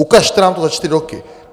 Ukažte nám to za čtyři roky!